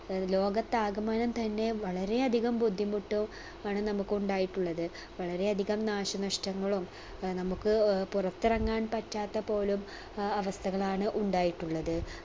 ഏർ ലോകത്താകമാനം തന്നെ വളരെ അധികം ബുദ്ധിമുട്ടൊ ആണ് നമുക്കുണ്ടായിട്ടുള്ളത് വളരെ അധികം നാശനഷ്ടങ്ങളും അഹ് നമുക്ക് ഏർ പുറത്തിറങ്ങാൻ പറ്റാത്ത പോലും അഹ് അവസ്ഥകളാണ് ഉണ്ടായിട്ടുള്ളത്